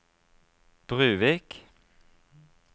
Bruvik